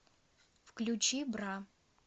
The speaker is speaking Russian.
включи бра